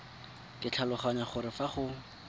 ke tlhaloganya gore fa go